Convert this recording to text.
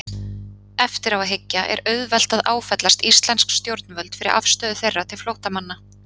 Eftir á að hyggja er auðvelt að áfellast íslensk stjórnvöld fyrir afstöðu þeirra til flóttamanna.